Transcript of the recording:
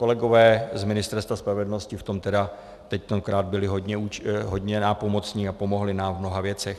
Kolegové z Ministerstva spravedlnosti v tom tedy teď akorát byli hodně nápomocni a pomohli nám v mnoha věcech.